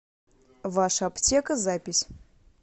ваша аптека запись